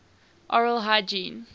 oral hygiene